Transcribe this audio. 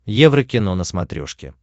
еврокино на смотрешке